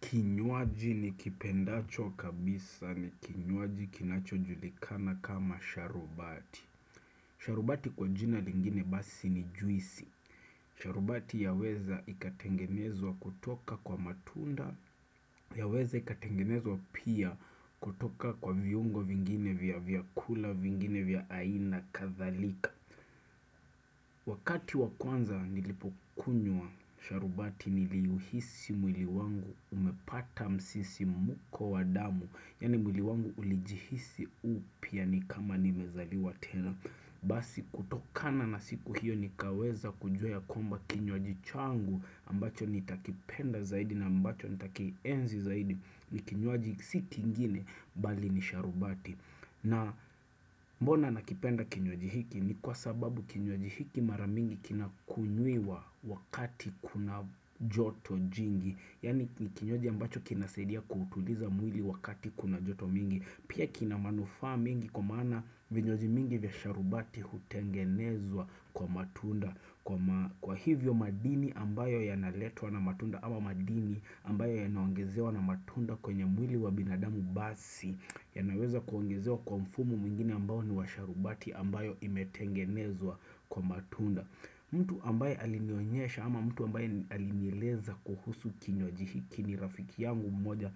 Kinywaji ni kipendacho kabisa ni kinywaji kinacho julikana kama sharubati sharubati kwa jina lingine basi ni juisi sharubati yaweza ikatengenezwa kutoka kwa matunda Yaweza ikatengenezwa pia kutoka kwa viungo vingine vya vyakula vingine vya aina kathalika Wakati wakwanza nilipo kunywa, sharubati niliuhisi mwili wangu umepata msisi muko wadamu. Yani mwili wangu ulijihisi upya ni kama nimezaliwa tena. Basi kutokana na siku hiyo nikaweza kujua ya kwamba kinywaji changu ambacho nitakipenda zaidi na ambacho nitakienzi zaidi ni kinywaji siki ingine bali ni sharubati. Na mbona nakipenda kinywaji hiki ni kwa sababu kinywaji hiki maramingi kinakunywiwa wakati kuna joto jingi Yani ni kinywaji ambacho kinasaidia kuutuliza mwili wakati kuna joto mingi Pia kinamanufaa mengi kwa maana vinywaji mingi vya sharubati hutengenezwa kwa matunda Kwa hivyo madini ambayo yanaletwa na matunda ama madini ambayo yanaongezewa na matunda kwenye mwili wa binadamu basi ya naweza kuongezewa kwa mfumo mwingine ambao ni washarubati ambayo imetengenezwa kwa matunda mtu ambaye alinionyesha ama mtu ambaye alinieleza kuhusu kinywaji hiki ni rafiki yangu mmoja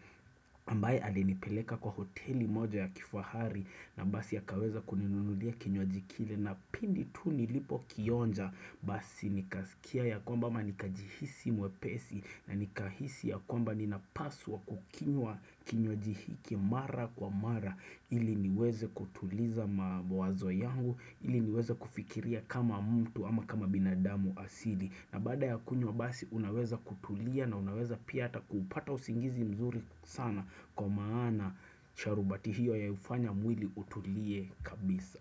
ambaye alinipeleka kwa hoteli moja ya kifaahari na basi akaweza kuninunulia kinywaji kile na pindi tu nilipo kionja basi nikaskia ya kwamba ama nikajihisi mwepesi na nikahisi ya kwamba nina paswa kukinywa hiki mara kwa mara ili niweze kutuliza mawazo yangu ili niweze kufikiria kama mtu ama kama binadamu asili na baada ya kunywa basi unaweza kutulia na unaweza pia ata kuupata usingizi mzuri sana kwa maana sharubati hiyo ya ufanya mwili utulie kabisa.